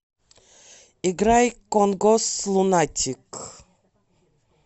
играй конгос лунатик